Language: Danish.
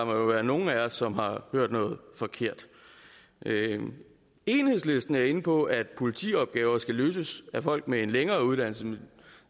være nogle af os som har hørt noget forkert enhedslisten er inde på at politiopgaver skal løses af folk med en længere uddannelse